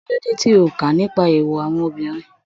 Kí ló dé tí o ò ka nípa èèwọ̀ àwọn obìnrin?